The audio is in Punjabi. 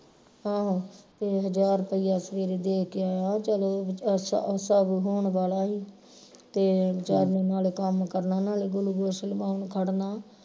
ਆਹੋ ਤੇ ਹਜਾਰ ਰੁਪਿਆ ਸਵੇਰੇ ਦੇ ਕੇ ਆਇਆ ਚਲੋ ਸਭ ਹੋਣ ਵਾਲਾ ਹੀ ਤੇ ਵਿਚਾਰੇ ਨਾਲ ਕੰਮ ਕਰਨਾ ਨਾਲੇ glucose ਲਵਾਉਣ ਨੂੰ ਖੜਨਾ